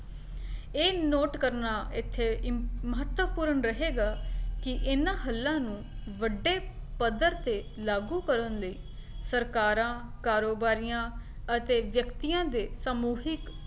ਇਹ note ਕਰਨਾ ਇੱਥੇ ਮ ਮਹੱਤਵਪੂਰਨ ਰਹੇਗਾ ਕੀ ਇਹਨਾਂ ਹੱਲਾਂ ਨੂੰ ਵੱਡੇ ਪੱਧਰ ਤੇ ਲਾਗੂ ਕਰਨ ਲਈ ਸਰਕਾਰਾਂ, ਕਾਰੋਬਾਰੀਆਂ ਅਤੇ ਵਿਅਕਤੀਆਂ ਦੇ ਸਮੂਹਿਕ